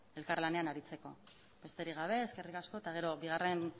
elkar lanean aritzeko besterik gabe eskerrik asko eta gero bigarren